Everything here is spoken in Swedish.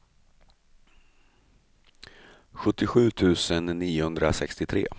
sjuttiosju tusen niohundrasextiotre